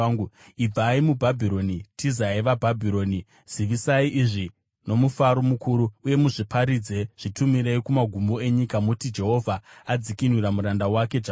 Mudai muBhabhironi, tizai vaBhabhironi! Zivisai izvi nomufaro mukuru, uye muzviparidze. Zvitumirei kumagumo enyika; muti, “Jehovha adzikinura muranda wake Jakobho.”